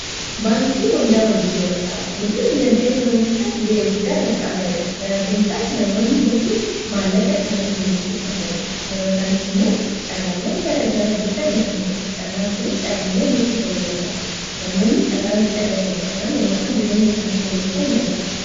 Baankii fi waldaan hojii gamtaa guddina dinagdee biyya tokkoo keessatti ga'ee guddaa kan qabaniidha. Sababiin isaas namoonni iddoo itti maallaqa isaanii buroof kuffataniidha. Dabalataaniis immoo carraawwan gara garaa iddoo itti argataniidha. Carraan kunis carraawwan liqii ta'uu danda'a. Namoonni carraa liqii argatanii kanaan yeroo isaanii jireenya isaanii fooyyeessu ni argina.